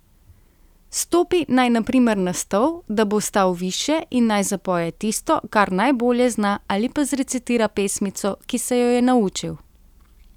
Stopi naj na primer na stol, da bo stal višje, in naj zapoje tisto, kar najbolje zna, ali pa zrecitira pesmico, ki se jo je naučil.